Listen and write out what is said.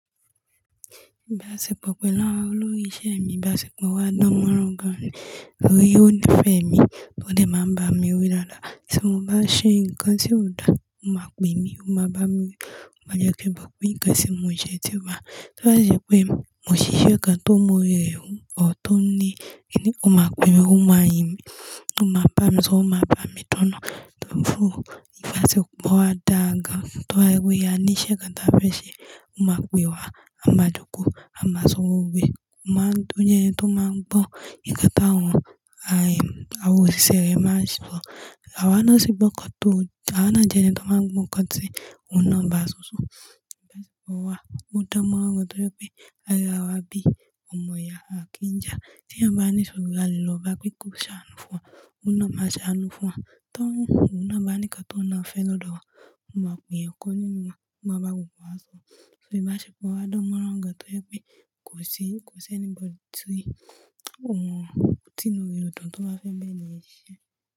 Ìbáṣepọ̀ pẹ̀lú àwọn olórí iṣẹ́ mi, ìbáṣepọ̀ wa dán mọ́ran gan ni. Torí ó nífẹ̀ẹ́ mi, ó dé máa ń bá mi wí dáadáa. Tí mo bá ṣe nǹkan tí ò da, ó máa pè mí, ó máa ba mi wi, mó de ti mo pe nǹkan tí mo ṣe tí o ba ibá ṣe pé mo ṣíṣe kan tó mu ori e wù ọ tó ní kini, ó máa pè mí, ó máa yìn mi, ó máa bá mi sọ, ó máa bá mi dunu. Torí fún ìbáṣepọ̀ wa dá gan, toba ye pé a ní iṣẹ́ kan ta fẹ́ ṣe, ó máa pè wá, a máa jókòó, a máa sọ gbogbo e, ó máa tún jẹ́ ẹni tó máa ń bọ́ ǹkan táwọn àwọn òṣìṣẹ́ rẹ̀ máa ṣo. A wa ńi sí gbọ̀ kán tó, a wa ń jẹ́ ẹni tó máa ń gbo nkán tí òun náà bá ṣo so. Ìbáṣepọ̀ wa o danmọ́ran gan torí pé a rí ara wa bí ọmọ ìyá àkínja. Tí eyan bá ní ìṣòro a lè lọ bá pe ko ṣàánú fún wa, òun náà máa ṣàánú fún wa. Tí òun náà bá ní ǹkan tó ní ọ́ fẹ́ lọ̀dọ̀ wa, ó máa pè eyan kan nínú wa, ó máa bá gbogbo wa sọ. Torí ìbáṣepọ̀ wa dánmọ́ran gan torí pé kò sí, kò sí anybody ti òun tìnrú rí ọ̀dun tó bá fẹ́ ń ba eniyen siṣẹ́